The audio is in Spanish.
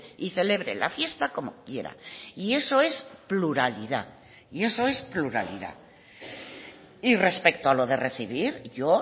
y celebre la fiesta como quiera y eso es pluralidad y eso es pluralidad y respecto a lo de recibir yo